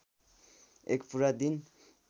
एक पुरा दिन